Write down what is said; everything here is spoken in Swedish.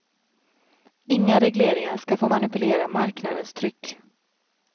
Inga regleringar ska få manipulera marknadens tryck.